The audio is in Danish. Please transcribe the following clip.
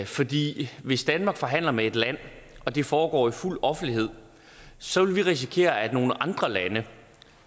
fordi hvis danmark forhandler med et land og det foregår i fuld offentlighed så ville vi risikere at nogle andre lande